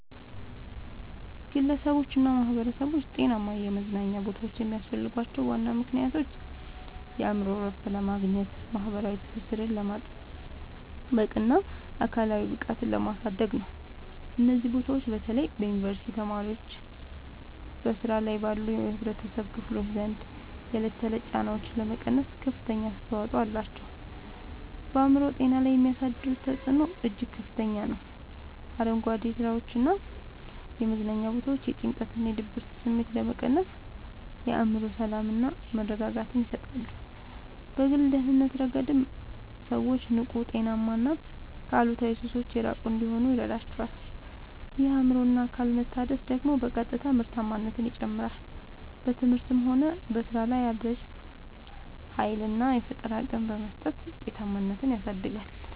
ግለሰቦችና ማኅበረሰቦች ጤናማ የመዝናኛ ቦታዎች የሚያስፈልጓቸው ዋና ምክንያቶች የአእምሮ እረፍት ለማግኘት፣ ማኅበራዊ ትስስርን ለማጥበቅና አካላዊ ብቃትን ለማሳደግ ነው። እነዚህ ቦታዎች በተለይ በዩኒቨርሲቲ ተማሪዎችና በሥራ ላይ ባሉ የኅብረተሰብ ክፍሎች ዘንድ የዕለት ተዕለት ጫናዎችን ለመቀነስ ከፍተኛ አስተዋጽኦ አላቸው። በአእምሮ ጤና ላይ የሚያሳድሩት ተጽዕኖ እጅግ ከፍተኛ ነው፤ አረንጓዴ ስፍራዎችና የመዝናኛ ቦታዎች የጭንቀትና የድብርት ስሜትን በመቀነስ የአእምሮ ሰላምና መረጋጋትን ይሰጣሉ። በግል ደህንነት ረገድም ሰዎች ንቁ: ጤናማና ከአሉታዊ ሱሶች የራቁ እንዲሆኑ ይረዳቸዋል። ይህ የአእምሮና አካል መታደስ ደግሞ በቀጥታ ምርታማነትን ይጨምራል: በትምህርትም ሆነ በሥራ ላይ አዲስ ኃይልና የፈጠራ አቅም በመስጠት ውጤታማነትን ያሳድጋል።